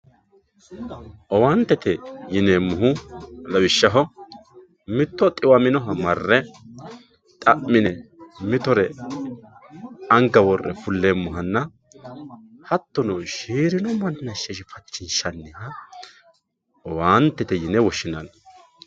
Owaantete yineemohu lawishaho mito xiwaminoha mare xami'ne mittore anga worre fuleemohanna hatonno shiirino manicho sheshifanchishaniha owaantete yine woshinanni